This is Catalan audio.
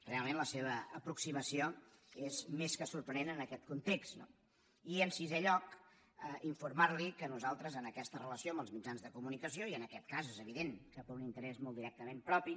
realment la seva aproximació és més que sorprenent en aquest context no i en sisè lloc informar·li que nosaltres en aquesta re·lació amb els mitjans de comunicació i en aquest cas és evident que per un interès molt directament propi